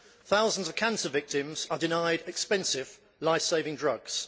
Thousands of cancer victims are denied expensive life saving drugs.